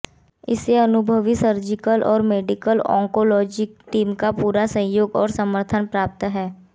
इसे अनुभवी सर्जिकल और मेडिकल ओंकोलॉजी टीम का पूरा सहयोग और समर्थन प्राप्त है